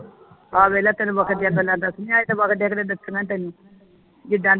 ਆਹ ਵੇਖ ਲੈ ਤੈਨੂੰ ਮੌਕੇ ਦੀਆ ਗੱਲਾਂ ਦੱਸਣੀਆਂ ਏ ਦੱਸਣੀਆਂਈ ਤੈਨੂੰ ਜਿੰਦਾ ਤੈਨੂੰ